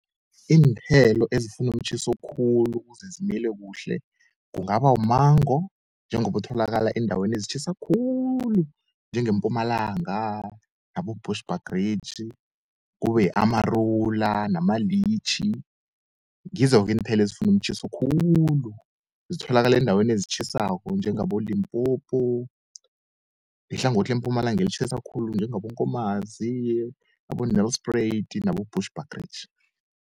Iinthelo ezifuna umtjhiso khulu ukuze zimile kuhle kungaba wu-mango njengoba utholakala eendaweni ezitjhisa khulu njengeMpumalanga, abo-Bushbuckridge. Kube yi-amarula namalitjhi ngizo-ke iinthelo ezifuna umtjhiso khulu, zitholaka eendaweni ezitjhisako njengaboLimpopo, nehlangothi leMpumalanga, elitjhisa khulu njengaboNkomazi, abo-Nelspruit nabo-Bushbuckridge.